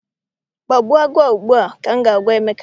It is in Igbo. Gbagbuo agụ a ugbu a!! Ka m ga- agwa Emeka.